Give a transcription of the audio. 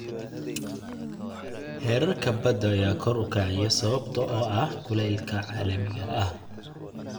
Heerarka badda ayaa kor u kacaya sababtoo ah kulaylka caalamiga ah.